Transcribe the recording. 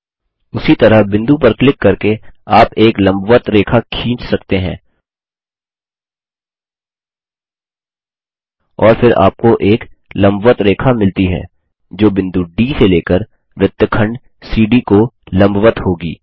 उसी तरह बिंदु पर क्लिक करके आप एक लम्बवत रेखा खींच सकते हैं और फिर आपको एक लम्बवत रेखा मिलती है जो बिंदु डी से लेकर वृत्तखंड सीडी को लम्बवत्त होगी